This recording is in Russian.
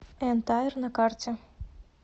эн тайр на карте